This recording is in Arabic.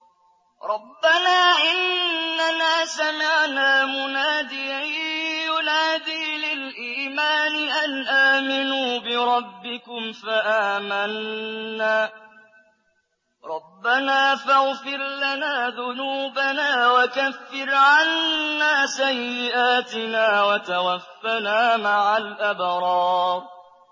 رَّبَّنَا إِنَّنَا سَمِعْنَا مُنَادِيًا يُنَادِي لِلْإِيمَانِ أَنْ آمِنُوا بِرَبِّكُمْ فَآمَنَّا ۚ رَبَّنَا فَاغْفِرْ لَنَا ذُنُوبَنَا وَكَفِّرْ عَنَّا سَيِّئَاتِنَا وَتَوَفَّنَا مَعَ الْأَبْرَارِ